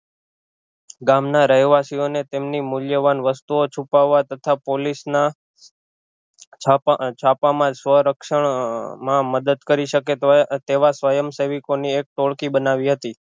ગામ ના રહેવાસીઓને તેમની મૂલ્યવાન વસ્તુઑ છુપાવા તથા પોલીસ ના છાપા છાપા માં સ્વ રક્ષણ માં મદદ કરી શકે તો તેવા સ્વયં સેવીકો ની એક ટોળકી બનાવી હતી